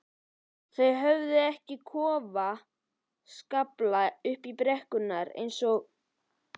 Þau þurftu ekki að klofa skafla upp brekkuna eins og